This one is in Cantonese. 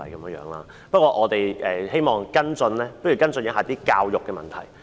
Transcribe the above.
不過，不如我們跟進一下教育的問題。